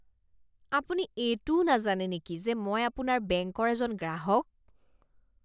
আপুনি এইটোও নাজানে নেকি যে মই আপোনাৰ বেংকৰ এজন গ্ৰাহক?